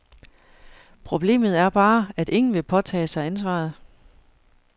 Problemet er bare, at ingen vil påtage sig ansvaret.